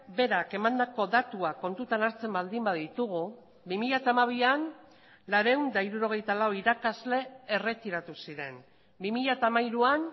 berak emandako datuak kontutan hartzen baldin baditugu bi mila hamabian laurehun eta hirurogeita lau irakasle erretiratu ziren bi mila hamairuan